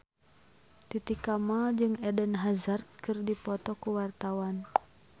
Titi Kamal jeung Eden Hazard keur dipoto ku wartawan